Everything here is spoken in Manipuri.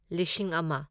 ꯂꯤꯁꯤꯡ ꯑꯃ